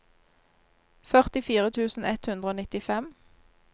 førtifire tusen ett hundre og nittifem